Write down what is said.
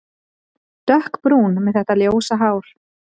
Dökkbrún með þetta ljósa hár.